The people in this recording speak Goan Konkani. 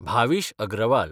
भावीश अग्रवाल